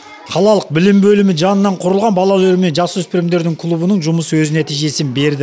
қалалық білім бөлімі жанынан құрылған балалар мен жасөспірімдер кулбының жұмысы өз нәтижесін берді